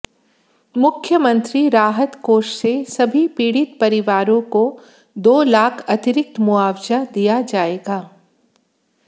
मुख्यमंत्री राहत कोष से सभी पीड़ित परिवारों को दो लाख अतिरिक्त मुआवजा दिया जाएगा